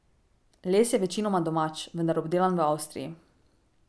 Les je večinoma domač, vendar obdelan v Avstriji.